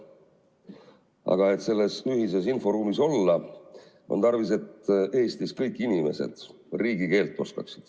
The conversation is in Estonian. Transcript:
Aga et selles ühises inforuumis olla, on tarvis, et Eestis oskaksid kõik inimesed riigikeelt.